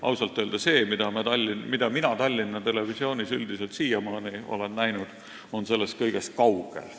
Ausalt öelda see, mida mina Tallinna Televisioonis üldiselt siiamaani olen näinud, on sellest kõigest kaugel.